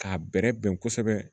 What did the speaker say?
K'a bɛrɛ bɛn kosɛbɛ